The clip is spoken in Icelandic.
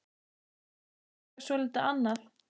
En svo er líka soldið annað.